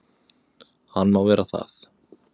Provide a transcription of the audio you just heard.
Hann má vera það.